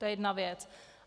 To je jedna věc.